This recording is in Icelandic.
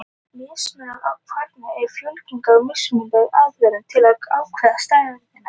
Mismunur kvarðanna er fólginn í mismunandi aðferðum til að ákvarða stærðina.